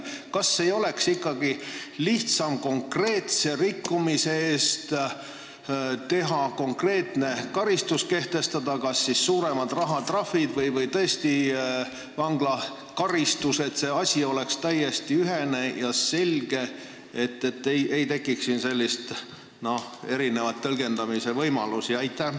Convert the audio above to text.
Kas ei oleks ikkagi lihtsam konkreetse rikkumise eest konkreetne karistus kehtestada – suuremad rahatrahvid või tõesti vanglakaristus –, et asi oleks täiesti ühene ja selge, et siin ei tekiks erineva tõlgendamise võimalusi?